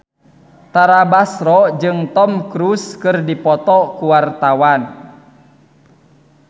Tara Basro jeung Tom Cruise keur dipoto ku wartawan